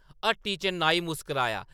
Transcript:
ह्‌ट्‌टी च नाई मुस्कराया ।